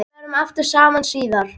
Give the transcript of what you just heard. Við verðum aftur saman síðar.